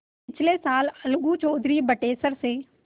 पिछले साल अलगू चौधरी बटेसर से